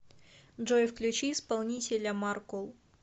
джой включи исполнителя маркул